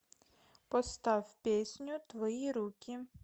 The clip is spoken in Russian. поставь песню твои руки